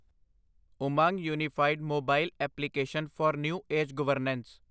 Umang unified mobile application for new age governance